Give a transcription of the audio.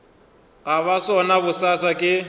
go ba sona bosasa ke